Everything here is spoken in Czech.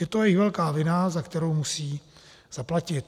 Je to jejich velká vina, za kterou musí zaplatit.